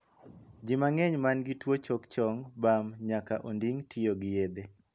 Ji mang'eny man gi tuo choke chong, bam, nyaka onding' tiyo gi yedhe.